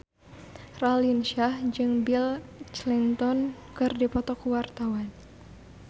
Raline Shah jeung Bill Clinton keur dipoto ku wartawan